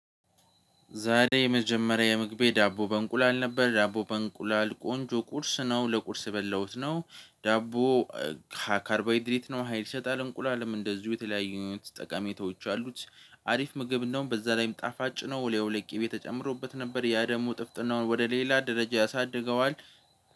ዛሬ የመጀመሪያ የምግቤ ዳቦ በእንቁላል ነበር ዳቦ በእንቁላል ቆንጆ ቁርስ ነው ለቁርስ የበላሁት ነው። ዳቦ ካርቦይድሪት ነው ሀይል ይሰጣል እንቁላልም እንደዚሁ የተለያዩት ጠቃሚዎች አሉት። አሪፍ ምግብ እንደውም በዛ ላይም ጣፋጭ ነው ወለቄ ቤት ተጨምሮበት ነበር። ያ ደግሞ ጥፍጥናውን ወደ ሌላ ደረጃ ያሳድገዋል